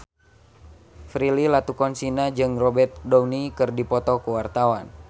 Prilly Latuconsina jeung Robert Downey keur dipoto ku wartawan